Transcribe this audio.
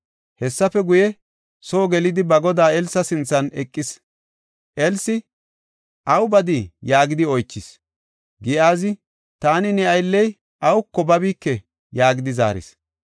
Hessafe guye, soo gelidi, ba godaa Elsa sinthan eqis. Elsi, “Aw badii?” yaagidi oychis. Giyaazi, “Taani ne aylley awuka babike” yaagidi zaaris.